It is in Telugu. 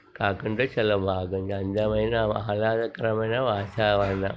కాకుంటే చాలా బాగుంది. అందమైన ఆహ్లాదకరమైన వాతావరణం--